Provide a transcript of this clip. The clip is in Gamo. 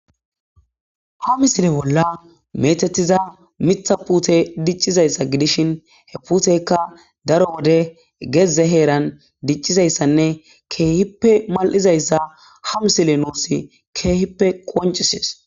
Ha misile bolla metetiza mitha pute diccizayssa gidishin he puteykka daro wode gezze heeran diccizayssanne keehippe mal'izayssa ha misile nuusi keehippe qoncisees.